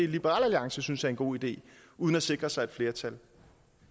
liberal alliance synes er en god idé uden at sikre sig et flertal